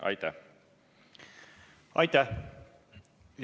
Aitäh!